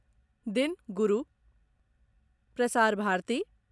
दिन गुरू प्रसार भारती